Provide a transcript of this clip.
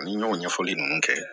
Ni n y'o ɲɛfɔli nunnu kɛ